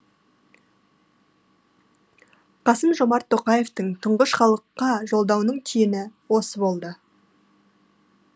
қасым жомарт тоқаевтың тұңғыш халыққа жолдауының түйіні осы болды